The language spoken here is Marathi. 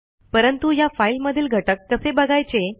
परंतु ह्या फाईलमधील घटक कसे बघायचे